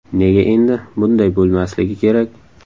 Nega endi bunday bo‘lmasligi kerak?